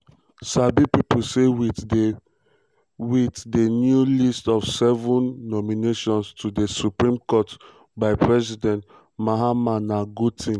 sabi pipo say wit di wit di new list of 7 um nominations to di supreme court by president um mahama na good tin.